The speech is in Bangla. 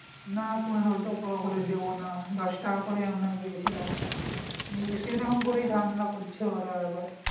না পনের টাকা করে দেব না দশ টাকা করে ই আমরা গিয়েছিলাম এই সেই রকম করেই ঝামেলা করছে ওরা এইবার